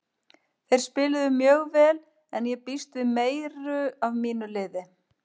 Þeir spiluðu mjög vel en ég býst við meiru af mínu liði.